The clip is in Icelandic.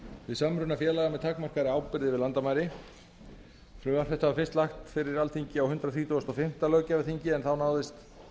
við samruna félaga með takmarkaðri ábyrgð yfir landamæri frumvarp þetta var fyrst lagt fyrir alþingi á hundrað þrítugasta og fimmta löggjafarþingi en þá náðist